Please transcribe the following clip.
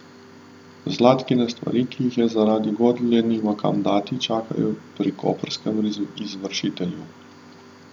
Zlatkine stvari, ki jih zaradi godlje nima kam dati, čakajo pri koprskem izvršitelju.